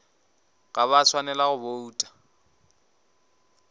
ga ba swanela go bouta